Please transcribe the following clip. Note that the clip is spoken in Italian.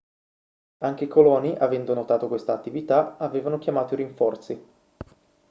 anche i coloni avendo notato questa attività avevano chiamato i rinforzi